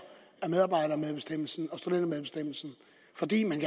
af medarbejdermedbestemmelsen og studentermedbestemmelsen fordi man